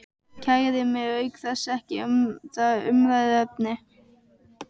Kæri mig auk þess ekki um það umræðuefni.